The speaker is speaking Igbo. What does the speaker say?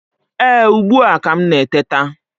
Ee, ugbu a ka m na-eteta